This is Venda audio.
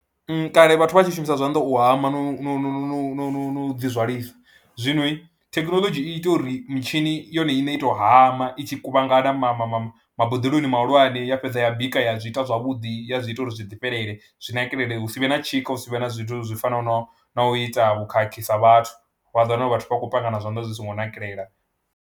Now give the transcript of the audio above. Kale vhathu vha tshi shumisa zwanḓa u hama no no no dzi zwalisa, zwinoi thekhinoḽodzhi i ita uri mitshini yone iṋe i tou hama i tshi kuvhangana ma ma ma maboḓeloni mahulwane ya fhedza ya bika ya zwi ita zwavhuḓi, ya zwi ita uri zwi ḓifhelele zwi nakelele hu si vhe na tshika, hu si vhe na zwithu zwi fanaho na u ita vhukhakhi sa vhathu, vha ḓo wana uri vhathu vha khou panga na zwanḓa zwi songo nakelela.